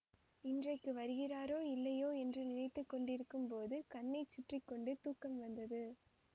இன்றைக்கு வருகிறாரோ இல்லையோ என்று நினைத்து கொண்டிருக்கும் போது கண்ணை சுற்றி கொண்டு தூக்கம் வந்தது